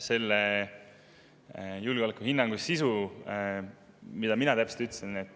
Selle julgeolekuhinnangu sisu, mida ma täpselt ütlesin …